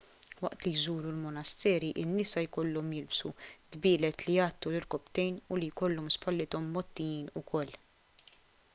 waqt li jżuru l-monasteri in-nisa jkollhom jilbsu dbielet li jgħattu l-irkopptejn u li jkollhom spallithom mgħottijin wkoll